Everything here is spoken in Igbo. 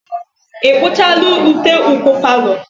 Ị kpuchala ute ụkwụ palọ?